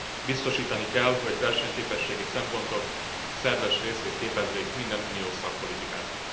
Biztosítani kell, hogy versenyképességi szempontok szerves részét képezzék minden uniós szakpolitikának.